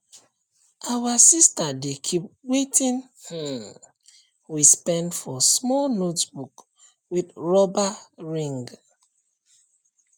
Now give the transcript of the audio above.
our sister dey keep watin um we spend for small notebook with rubber ring